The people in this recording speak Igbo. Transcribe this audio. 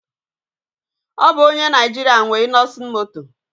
Ọ bụ onye Naijiria nwe Innoson Moto